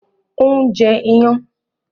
Òun jẹ iyán